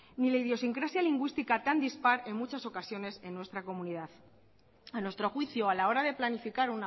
ni la idiosincrasia lingüística tan dispar en muchas ocasiones en nuestra comunidad a nuestro juicio a la hora de planificar